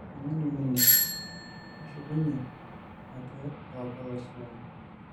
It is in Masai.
Oloing'oni ninye, keshukunyie ake aaku olaisulani.